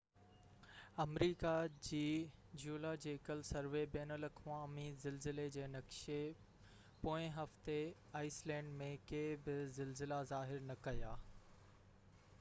آمريڪا جي geological survey بين الاقوامي زلزلي جي نقشي پوئين هفتي آئيس لينڊ ۾ ڪي بہ زلزلا ظاهر نہ ڪيا